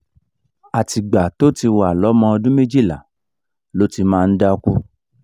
àtìgbà tó ti wà lọ́mọ ọdún méjìlá ló ti máa ń dákú